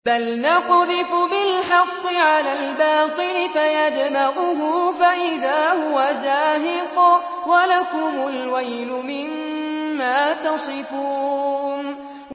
بَلْ نَقْذِفُ بِالْحَقِّ عَلَى الْبَاطِلِ فَيَدْمَغُهُ فَإِذَا هُوَ زَاهِقٌ ۚ وَلَكُمُ الْوَيْلُ مِمَّا تَصِفُونَ